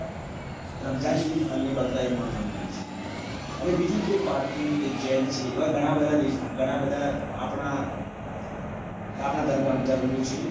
રમઝાન ઈદ અને બકરાઈદ મહત્વની હોય છે જેવી રીતે પારસી છે જૈન છે જેવા આપણા અલગ અલગ ધર્મો છે